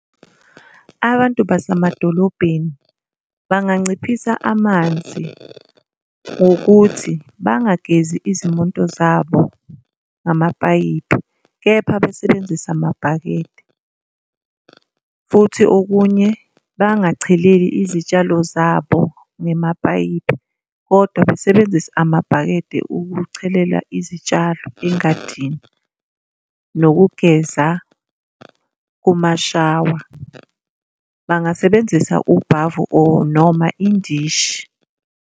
Abantu basemadolobheni banganciphisa amanzi ngokuthi bangagezi izimoto zabo ngamapayipi, kepha basebenzise amabhakede, futhi okunye bangacheleli izitshalo zabo ngemapayipi, kodwa besebenzise amabhakede ukuchelela izitshalo engadini. Nokugeza kumashawa, bangasebenzisa ubhavu or noma indishi.